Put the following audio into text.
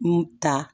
N ta